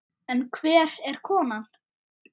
En hver er konan?